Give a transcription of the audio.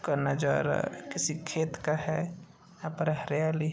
का नजारा किसी खेत का है। यहाँ पर हरियाली